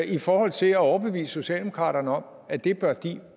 i forhold til at overbevise socialdemokratiet om at det bør de